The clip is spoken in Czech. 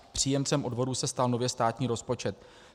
Příjemcem odvodu se stal nově státní rozpočet.